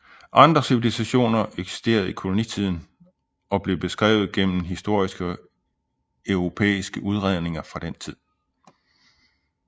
Andre civilisationer eksisterede i kolonitiden og blev beskrevet gennem historiske europæiske udredninger fra den tid